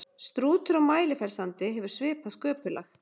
Strútur á Mælifellssandi hefur svipað sköpulag.